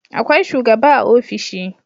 Akwai shugaba a ofishi